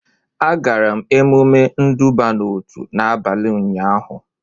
Agara m emume nduba n'otu n'abalị ụnyaahụ